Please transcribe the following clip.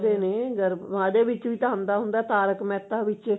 ਕਰਦੇ ਨੇ ਉਹਦੇ ਵਿੱਚ ਵੀ ਤਾਂ ਆਉਂਦਾ ਹੁੰਦਾ tarak mehta ਵਿੱਚ